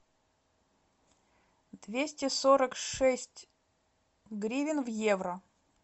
двести сорок шесть гривен в евро